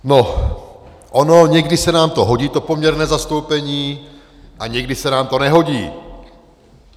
No, ono někdy se nám to hodí, to poměrné zastoupení, a někdy se nám to nehodí.